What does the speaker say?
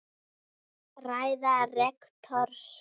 Ræða rektors